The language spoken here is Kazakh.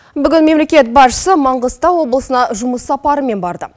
бүгін мемлекет басшысы маңғыстау облысына жұмыс сапарымен барды